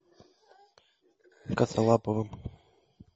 косолаповым